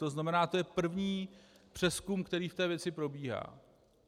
To znamená, to je první přezkum, který v té věci probíhá.